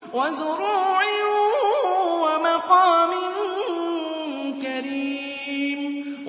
وَزُرُوعٍ وَمَقَامٍ كَرِيمٍ